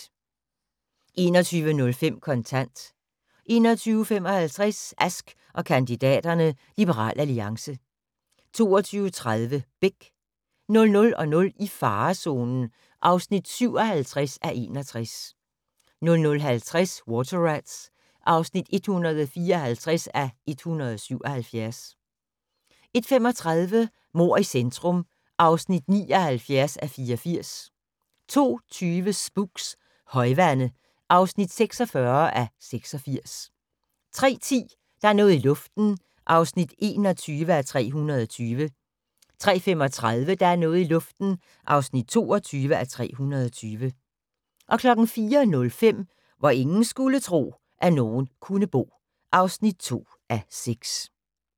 21:05: Kontant 21:55: Ask & kandidaterne: Liberal Alliance 22:30: Beck 00:00: I farezonen (57:61) 00:50: Water Rats (154:177) 01:35: Mord i centrum (79:84) 02:20: Spooks: Højvande (46:86) 03:10: Der er noget i luften (21:320) 03:35: Der er noget i luften (22:320) 04:05: Hvor ingen skulle tro, at nogen kunne bo (2:6)